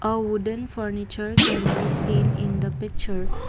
a wooden furniture can be seen in the picture.